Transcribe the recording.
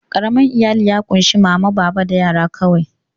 Ƙaramin iyali ya ƙunshi mama, baba da yara kawai.